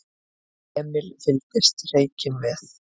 Emil fylgdist hreykinn með.